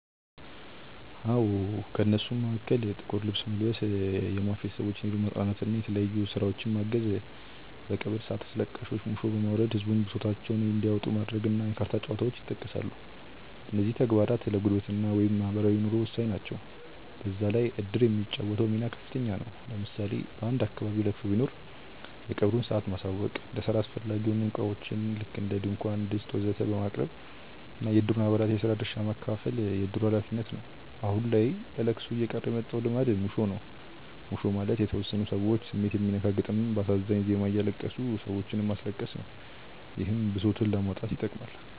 አዎ። ከእነሱም መሀከል ጥቁር ልብስ መልበስ፣ የሟች ቤተሰቦችን ሄዶ ማፅናናት እና የተለያዩ ስራዎችን ማገዝ፣ በቀብር ሰአት አስለቃሾች ሙሾ በማውረድ ህዝቡን ብሶታቸውን እንዲያወጡ ማድረግ እና የካርታ ጨዋታዎች ይጠቀሳሉ። እነዚህም ተግባራት ለጉርብትና (ማህበራዊ ኑሮ) ወሳኝ ናቸው። በዛ ላይ እድር የሚጫወተው ሚና ከፍተኛ ነው። ለምሳሌ በአንድ አካባቢ ለቅሶ ቢኖር የቀብሩን ሰአት ማሳወቅ፣ ለስራ አስፈላጊ የሆኑ እቃዎችን (ድንኳን፣ ድስት ወዘተ...) ማቅረብ እና የእድሩን አባላት የስራ ድርሻ ማከፋፈል የእድሩ ሀላፊነት ነው። አሁን ላይ ለለቅሶ እየቀረ የመጣው ልማድ ሙሾ ነው። ሙሾ ማለት የተወሰኑ ሰዎች ስሜት የሚነካ ግጥም በአሳዛኝ ዜማ እያለቀሱ ሰዎችንም ማስለቀስ ነው። ይህም ብሶትን ለማውጣት ይጠቅማል።